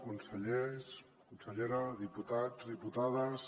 consellers consellera diputats diputades